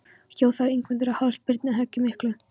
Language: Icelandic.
Hjó þá Ingimundur á háls Birni höggi miklu.